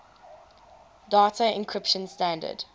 data encryption standard